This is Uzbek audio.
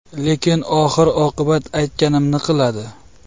Lekin oxir-oqibat aytganimni qiladi.